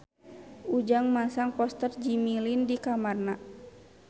Ujang masang poster Jimmy Lin di kamarna